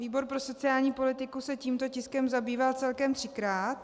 Výbor pro sociální politiku se tímto tiskem zabýval celkem třikrát.